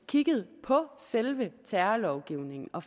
kigget på selve terrorlovgivningen og